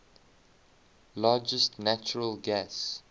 largest natural gas